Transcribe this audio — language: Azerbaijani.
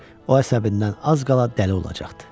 O əsəbindən az qala dəli olacaqdı.